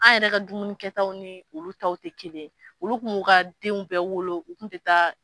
An yɛrɛ ka dumunikɛtaw ni olu taw tɛ kelen ye olu kun mu ka denw bɛɛ wolo u kun ti taa.